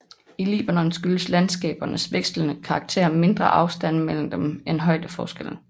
I Libanon skyldes landskabernes vekslende karakter mindre afstanden mellem dem end højdeforskelle